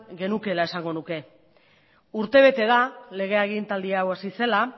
genukeela esango nuke urtebete da lege agintaldia hau hasi zela